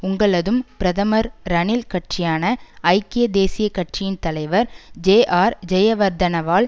உங்களதும் பிரதமர் ரணில் கட்சியான ஐக்கிய தேசிய கட்சியின் தலைவர் ஜேஆர் ஜெயவர்தனவால்